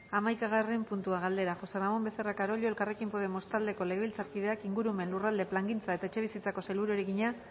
hamaikagarren puntua galdera josé ramón becerra carollo elkarrekin podemos taldeko legebiltzarkideak ingurumen lurralde plangintza eta etxebizitzako sailburuari egina